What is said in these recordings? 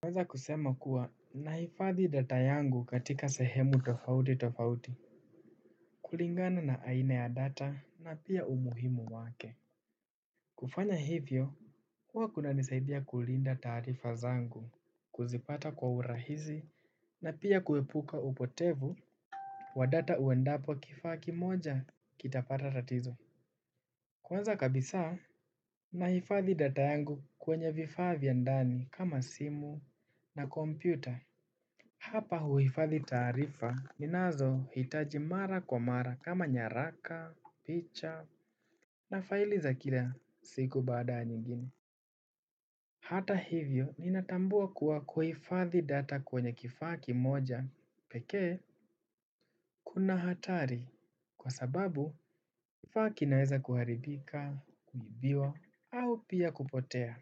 Kwanza kusema kuwa nahifadhi data yangu katika sehemu tofauti tofauti. Kulingana na aina ya data na pia umuhimu wake kufanya hivyo kuwa kuna nisaidia kulinda taarifa zangu kuzipata kwa urahizi na pia kuhepuka upotevu wa data uendapo kifaa kimoja kitapata tatizo. Kwanza kabisa nahifadhi data yangu kwenye vifaa vya ndani kama simu na kompyuta. Hapa huhifadhi taarifa ninazo hitaji mara kwa mara kama nyaraka, picha na faili za kila siku baada ya nyingine. Hata hivyo ninatambua kuwa kuhifadhi data kwenye kifaa kimoja peke. Kuna hatari kwa sababu kifaa kinaweza kuharibika, kuibiwa au pia kupotea.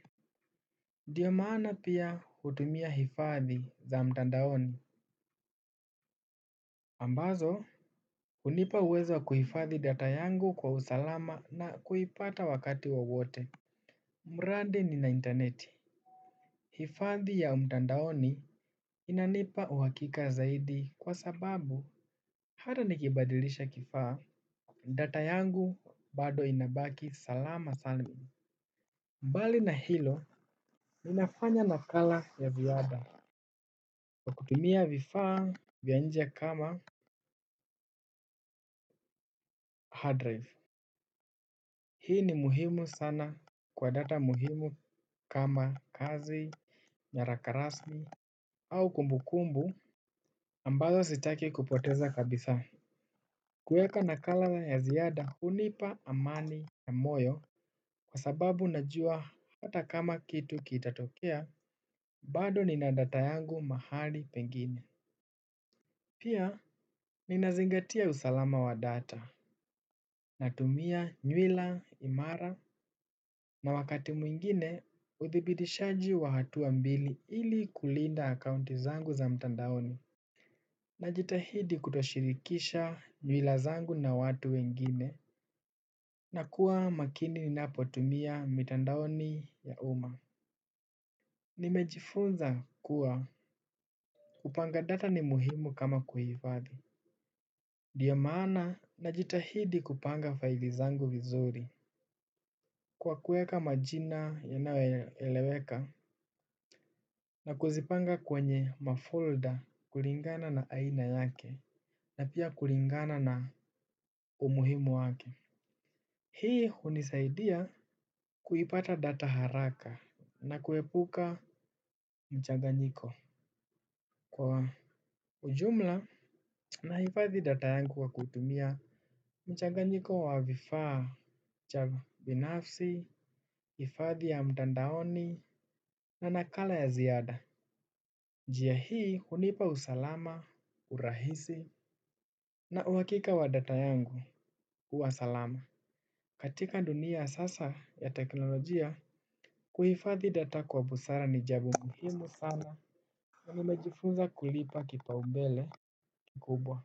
Ndiyo maana pia hutumia hifadhi za mtandaoni. Ambazo. Hunipa uwezo kuhifadhi data yangu kwa usalama na kuipata wakati wowote mrandi nina interneti. Hifadhi ya umtandaoni inanipa uhakika zaidi kwa sababu hata nikibadilisha kifaa data yangu bado inabaki salama salmini. Mbali na hilo ninafanya nakala ya ziada. Kwa kutumia vifaa vya nje kama hard drive. Hii ni muhimu sana kwa data muhimu kama kazi, nyarakarasmi au kumbukumbu ambazo sitaki kupoteza kabisa. Kuweka nakala ya ziada unipa amani ya moyo kwa sababu najua hata kama kitu kitatokea bado nina data yangu mahali pengine. Pia ninazingatia usalama wa data natumia nywila, imara na wakati mwingine uthibidishaji wa hatua mbili ili kulinda akaunti zangu za mtandaoni. Najitahidi kutoshirikisha nywila zangu na watu wengine na kuwa makini ninapo tumia mitandaoni ya uma. Nimejifunza kuwa kupanga data ni muhimu kama kuhifadhi. Ndio maana na jitahidi kupanga file zangu vizuri. Kwa kuweka majina yanayo eleweka na kuzipanga kwenye mafolder kulingana na aina yake na pia kulingana na umuhimu wake. Hii hunisaidia kuipata data haraka. Na kuhepuka mchaganyiko. Kwa ujumla nahifathi data yangu kwa kutumia mchaganyiko wa vifaa cha binafsi, ifadhi ya mtandaoni na nakala ya ziada. Njia hii hunipa usalama, urahisi na uhakika wa data yangu, huwa salama. Katika dunia ya sasa ya teknolojia kuhifadhi data kwa busara ni jabo muhimu sana. Na nimejifunza kulipa kipao mbele kubwa.